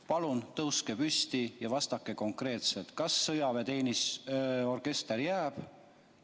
Palun tõuske püsti ja vastake konkreetselt, kas sõjaväeorkester jääb.